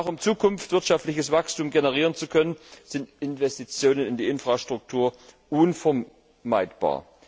Um auch in Zukunft wirtschaftliches Wachstum generieren zu können, sind Investitionen in die Infrastruktur unvermeidbar.